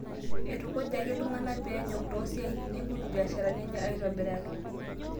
Eitukujaki iltung'ana pee enyok too siatin neibung' mbiasharani enye aitobiraki